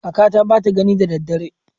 Kakata bata gani da daddare.